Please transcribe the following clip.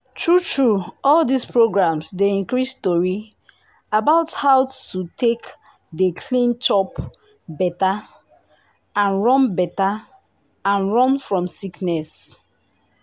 true true all dis programs dey increase tori about how to take dey clean chop better and run better and run fom sickness.